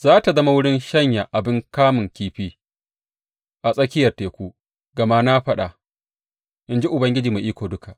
Za tă zama wurin shanya abin kamun kifi a tsakiyar teku, gama na faɗa, in ji Ubangiji Mai Iko Duka.